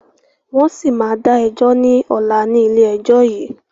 Wọn síí má da ẹjọ́ ni ọ̀la ni ilé ẹjọ́ yìí